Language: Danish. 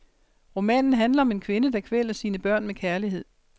Romanen handler om en kvinde, der kvæler sine børn med kærlighed.